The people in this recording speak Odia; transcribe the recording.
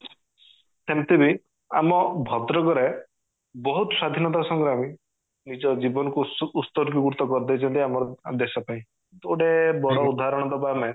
ସେମିତି ବି ଆମ ଭଦ୍ରକ ରେ ବହୁତ ସ୍ଵାଧୀନତା ସଂଗ୍ରାମୀ ନିଜ ଜୀବନ କୁ ସୁ ଉଶ୍ଚାର୍ଗୀକୃତ କରିଦେଇଛନ୍ତି ଆମର ଆମ ଦେଶ ପାଇଁ ଯଦି ଗୋଟେ ବଡ ଉଦାହରଣ ଦବା ଆମେ